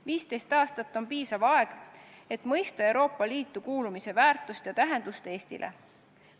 15 aastat on piisav aeg, et mõista Euroopa Liitu kuulumise väärtust ja tähendust Eestile.